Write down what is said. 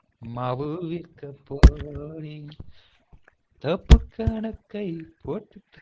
மாவு விற்க போனேன் தப்பு கணக்கை போட்டுத்